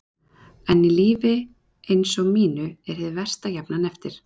En í lífi eins og mínu er hið versta jafnan eftir.